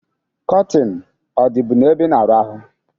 Kọtịn ọ dịbu n'ebe i na-arahụ?